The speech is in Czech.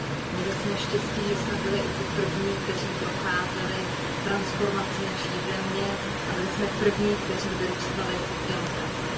Měli jsme štěstí, že jsme byli i ti první, kteří procházeli transformací naší země, a byli jsme první, kteří vyrůstali v demokracii.